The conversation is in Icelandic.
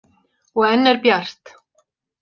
Og enn bjart.